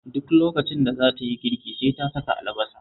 Duk lokacin da za ta yi girki sai ta saka albasa